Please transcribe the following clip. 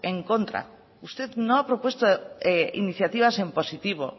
en contra usted no ha propuesto iniciativas en positivo